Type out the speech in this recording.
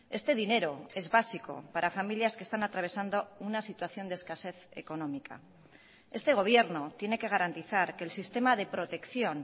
este dinero es básico para familias que están atravesando una situación de escasez económica este gobierno tiene que garantizar que el sistema de protección